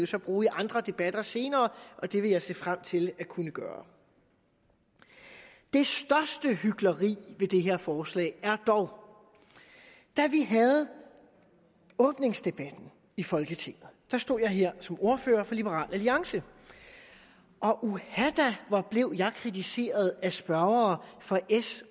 så bruges i andre debatter senere og det vil jeg se frem til at kunne gøre det største hykleri ved det her forslag var dog da vi havde åbningsdebatten i folketinget og jeg stod her som ordfører for liberal alliance og uha da hvor blev jeg kritiseret af spørgere fra s